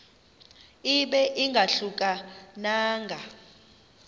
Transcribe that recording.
ibe ingahluka nanga